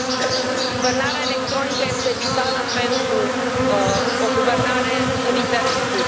Guvernarea electronică este vitală pentru o guvernare în interes public.